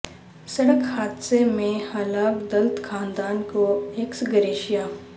سڑک حادثہ میں ہلاک دلت خاندان کو ایکس گریشیا